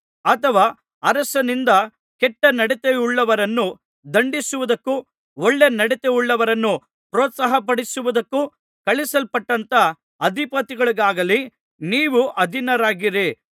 ಅಥವಾ ಅರಸನಿಂದ ಕೆಟ್ಟ ನಡತೆಯುಳ್ಳವರನ್ನು ದಂಡಿಸುವುದಕ್ಕೂ ಒಳ್ಳೆ ನಡತೆಯುಳ್ಳವರನ್ನು ಪ್ರೋತ್ಸಾಹಪಡಿಸುವುದಕ್ಕೂ ಕಳುಹಿಸಲ್ಪಟ್ಟಂಥ ಅಧಿಪತಿಗಳಿಗಾಗಲಿ ನೀವು ಅಧೀನರಾಗಿರಿ